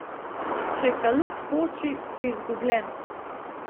Če kalup poči, si izgubljen.